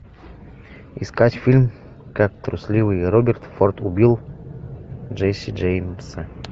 искать фильм как трусливый роберт форд убил джесси джеймса